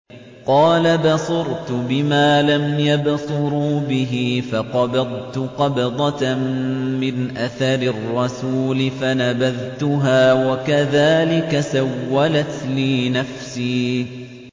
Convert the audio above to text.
قَالَ بَصُرْتُ بِمَا لَمْ يَبْصُرُوا بِهِ فَقَبَضْتُ قَبْضَةً مِّنْ أَثَرِ الرَّسُولِ فَنَبَذْتُهَا وَكَذَٰلِكَ سَوَّلَتْ لِي نَفْسِي